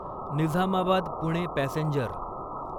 Nizamabad Pune passenger